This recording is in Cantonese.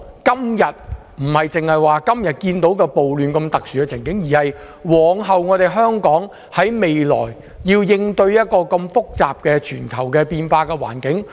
我們不僅要考慮今天社會暴亂的特殊情況，更要考慮往後香港如何應對一個複雜及全球變化的環境。